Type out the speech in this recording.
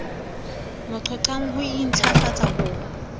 mo qhoqhang ho intlafatsa ho